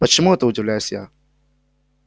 почему это удивляюсь я